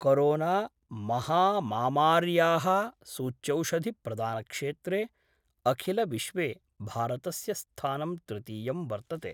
कोरोनामहामामार्याः सूच्यौषधिप्रदानक्षेत्रे अखिलविश्वे भारतस्य स्थानं तृतीयं वर्तते।